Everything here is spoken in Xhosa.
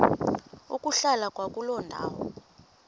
ukuhlala kwakuloo ndawo